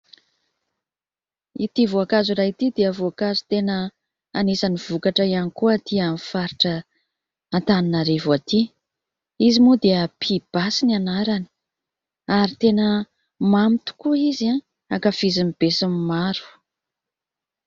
Ity voankazo iray ity dia voankazo tena anisan'ny vokatra ihany koa atỳ amin'ny faritra Antananarivo atỳ. Izy moa dia pibasy no anarany ary tena mamy tokoa izy, ankafizin'ny besinimaro.